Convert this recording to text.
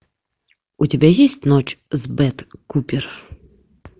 у тебя есть ночь с бет купер